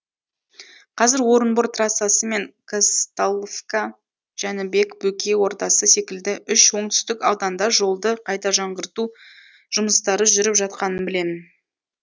қазір орынбор трассасы мен казталовка жәнібек бөкей ордасы секілді үш оңтүстік ауданда жолды қайта жаңғырту жұмыстары жүріп жатқанын білемін